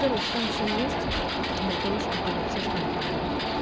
короче там все есть для того чтобы написать контрольную